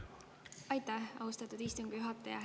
Aitäh, austatud istungi juhataja!